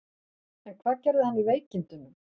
En hvað gerði hann í veikindunum?